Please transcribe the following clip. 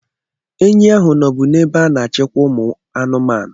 Enyi ahụ nọbụ n'ebe a na-achikwa ụmụ anụmanụ.